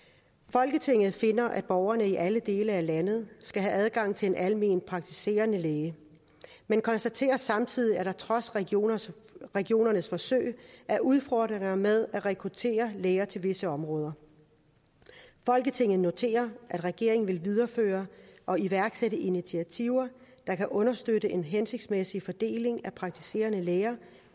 folketinget finder at borgerne i alle dele af landet skal have adgang til en alment praktiserende læge men konstaterer samtidig at der trods regionernes regionernes forsøg er udfordringer med at rekruttere læger til visse områder folketinget noterer at regeringen vil videreføre og iværksætte initiativer der kan understøtte en hensigtsmæssig fordeling af praktiserende læger